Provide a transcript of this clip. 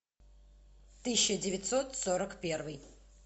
тысяча девятьсот сорок первый